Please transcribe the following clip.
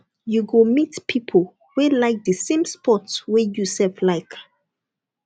you go meet pipo wey like di same sports wey you sef like